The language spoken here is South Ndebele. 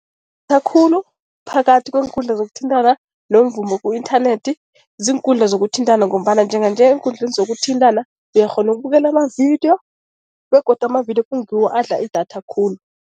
khulu phakathi kweenkundla zokuthintana nomvumo ku-inthanethi ziinkundla zokuthintana ngombana njenganje eenkundleni zokuthintana uyakghona ukubukela amavidiyo, begodu amavidiyo kungiwo adla idatha khulu.